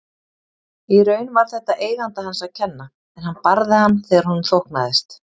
Í raun var þetta eiganda hans að kenna en hann barði hann þegar honum þóknaðist.